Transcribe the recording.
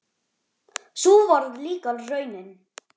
Sú varð líka raunin.